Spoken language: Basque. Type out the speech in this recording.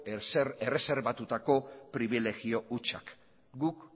erreserbatutako pribilegio hutsak guk